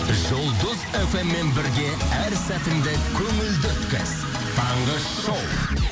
жұлдыз фммен бірге әр сәтіңді көңілді өткіз таңғы шоу